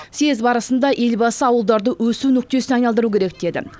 съез барысында елбасы ауылдарды өсу нүктесіне айналдыру керек деді